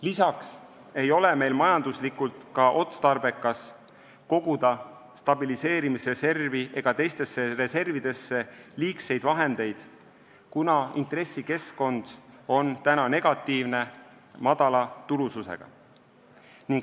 Lisaks ei ole meil majanduslikult otstarbekas koguda stabiliseerimisreservi ega teistesse reservidesse liigseid vahendeid, kuna intressikeskkond on praegu negatiivne, madala tulususega.